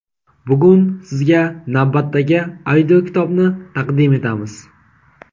Bugun sizga navbatdagi audio kitobni taqdim etamiz.